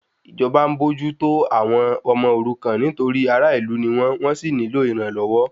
Ìjọba ń bójú tó àwọn ọmọ òrukan nítorí ará ìlú ni wọ́n, wọ́n sì nílò ìrànlọ́wọ́